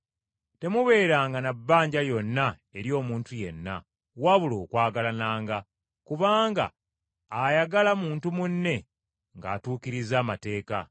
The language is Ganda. Temubeeranga na bbanja lyonna eri omuntu yenna, wabula okwagalananga; kubanga ayagala muntu munne ng’atuukiriza amateeka.